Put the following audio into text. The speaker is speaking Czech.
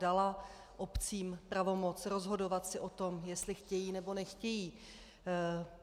Dala obcím pravomoc rozhodovat si o tom, jestli chtějí, nebo nechtějí.